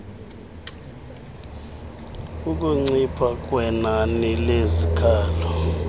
ukuncipha kwenani lezikhalo